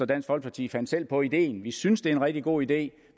dansk folkeparti fandt selv på ideen vi synes det er en rigtig god idé